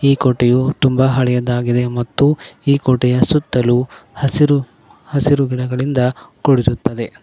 ಈ ಕೋಟೆಯೂ ತುಂಬ ಹಳೇದ್ದಾಗಿದೆ ಮತ್ತು ಈ ಕೋಟೆಯ ಸುತ್ತಲು ಹಸಿರು ಹಸಿರು ಗಿಡಗಳಿಂದ ಕುಡಿರುತ್ತದೆ.